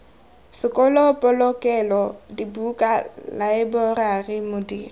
sekolo polokelo dibuka laeborari modiri